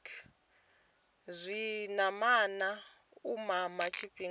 zwinamana u mama tshifhinga tshi